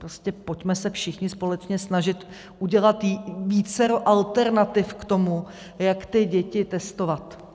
Prostě pojďme se všichni společně snažit udělat vícero alternativ k tomu, jak ty děti testovat.